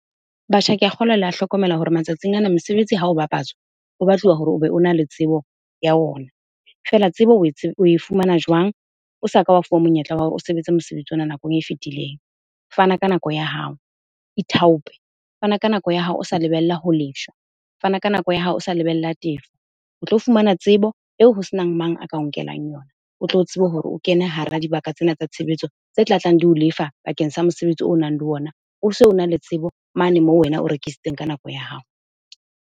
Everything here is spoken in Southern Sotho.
Batjha, ke a kgolwa le a hlokomela hore matsatsing ana mesebetsi hao bapatswa, o batluwa hore obe o na le tsebo ya ona. Fela, tsebo o e fumana jwang o sa ka wa fuwa monyetla wa hore o sebetse mosebetsi ona nakong e fetileng. Fana ka nako ya hao, ithaope. Fana ka nako ya hao o sa lebella ho . Fana ka nako ya hao o sa lebella tefo. O tlo fumana tsebo eo ho senang mang a ka o nkelang yona. O tlo tsebe hore o kene hara dibaka tsena tsa tshebetso tse tlatlang di o lefa bakeng sa mosebetsi o nang le ona. O se ona le tsebo mane moo wena o rekisitseng ka nako ya hao.